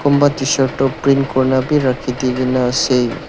kunba tshirt tu print kurna bi rakhidina ase.